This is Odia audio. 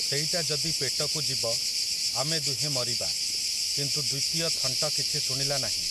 ସେଇଟା ଯଦି ପେଟକୁ ଯିବ, ଆମେ ଦୁହେଁ ମରିବା, କିନ୍ତୁ ଦ୍ୱିତୀୟ ଥଣ୍ଟ କିଛି ଶୁଣିଲା ନାହିଁ ।